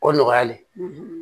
O nɔgɔyalen